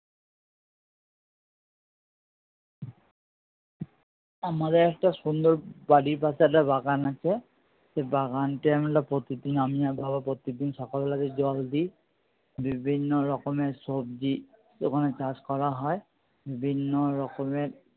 আমাদের একটা সুন্দর বাড়ির পাশে একটা বাগান আছে। সেই বাগানটায় আমরা প্রতিদিন আমি আর বাবা প্রত্যেকদিন সকাল বেলাতে জল দিই। বিভিন্ন রকমের সবজি ওখানে চাষ করা হয়। বিভিন্ন রকমের